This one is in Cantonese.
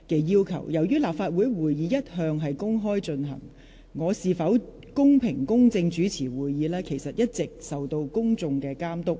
由於立法會會議一向公開進行，我是否公平、公正主持會議，會受公眾監督。